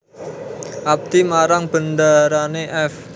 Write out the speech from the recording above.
Abdi marang bendarane f